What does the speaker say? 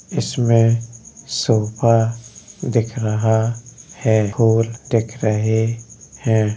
इसमें सोफा दिख रहा है। दिख रहे हैं।